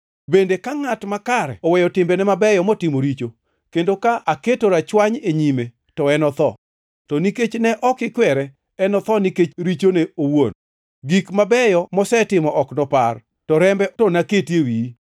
Bende, ka ngʼat makare oweyo timbene mabeyo motimo richo, kendo ka aketo rachwany e nyime, to enotho. To nikech ne ok ikwere, enotho nikech richone owuon. Gik mabeyo mosetimo ok nopar, to rembe to naketi e wiyi.